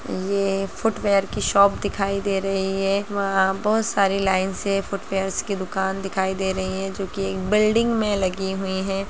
यह फुटवयर की शॉप दिखाई दे रही है इसमें बहुत सारी लाइन से फुटवयर की दुकान दिखाई दे रही है जो की एक बिल्डिंग मे लगी हुई है।